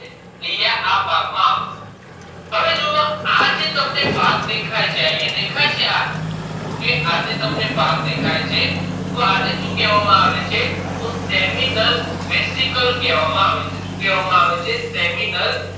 આ જે ભાગ તમને દેખાય છે seminal restical કહેવામાં આવે છે seminal restical કહેવામાં આવે છે